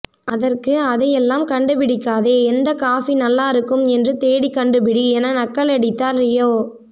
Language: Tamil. அதற்கு அதையெல்லாம் கண்டுபிடிக்காதே எந்த காஃபி நல்லாருக்கும் என்று தேடி கண்டுபிடி என நக்கலடித்தார் ரியோ